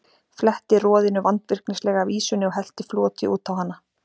Fletti roðinu vandvirknislega af ýsunni og hellti floti út á hana.